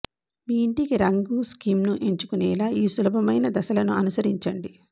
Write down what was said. మీ ఇంటికి రంగు స్కీమ్ను ఎంచుకునేలా ఈ సులభమైన దశలను అనుసరించండి